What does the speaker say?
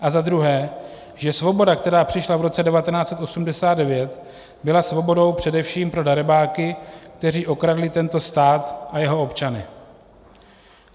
A za druhé, že svoboda, která přišla v roce 1989, byla svobodou především pro darebáky, kteří okradli tento stát a jeho občany.